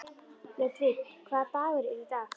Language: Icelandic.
Ludvig, hvaða dagur er í dag?